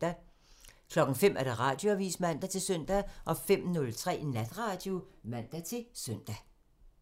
05:00: Radioavisen (man-søn) 05:03: Natradio (man-søn)